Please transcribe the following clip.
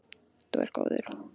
Þú ert góður.